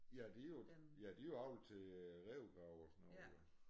Ja de jo ja de jo avlet til rævegrave og sådan noget jo